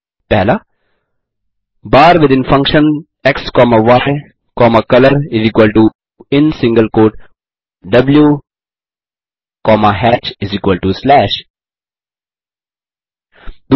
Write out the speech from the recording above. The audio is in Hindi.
1बार within function x comma y comma colorin single quote द्व कॉमा hatch स्लैश 2